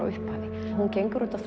upphafi hún gengur út á